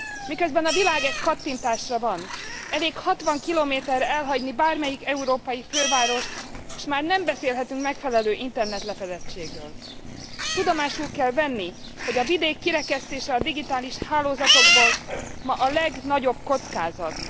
Miközben a világ egy kattintásra van, elég 60 km re elhagyni bármelyik európai fővárost, s már nem beszélhetünk megfelelő Internet lefedettségről. Tudomásul kell venni, hogy a vidék kirekesztése a digitális hálózatokból, ma a legnagyobb kockázat.